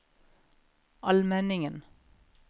Almenningen